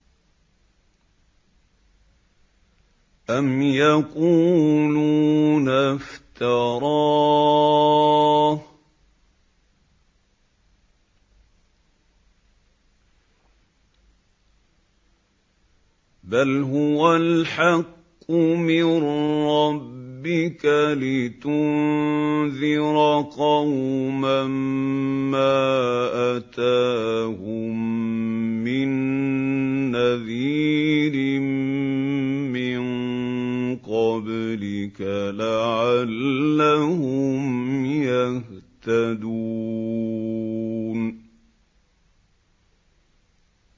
أَمْ يَقُولُونَ افْتَرَاهُ ۚ بَلْ هُوَ الْحَقُّ مِن رَّبِّكَ لِتُنذِرَ قَوْمًا مَّا أَتَاهُم مِّن نَّذِيرٍ مِّن قَبْلِكَ لَعَلَّهُمْ يَهْتَدُونَ